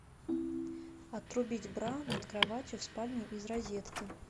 отрубить бра над кроватью в спальне из розетки